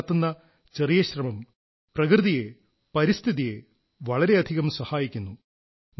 നാം നടത്തുന്ന ചെറിയ ശ്രമം പ്രകൃതിയെ പരിസ്ഥിതിയെ വളരെയധികം സഹായിക്കുന്നു